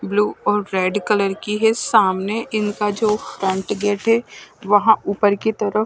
blue और red colour की है सामने इनका जो फ्रंट गेट है वहां ऊपर की तरफ--